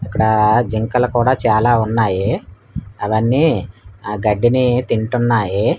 ఇక్కడా జింకల కూడా చాలా ఉన్నాయి అవన్నీ ఆ గడ్డిని తింటున్నాయి.